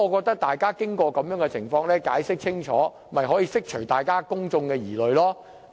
大家經過各種途徑聽取當局的解釋後，便可釋除自己和公眾的疑慮。